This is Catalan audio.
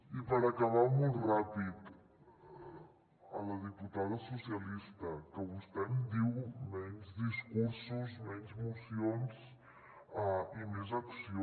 i per acabar molt ràpid a la diputada socialista que vostè em diu menys discursos menys mocions i més acció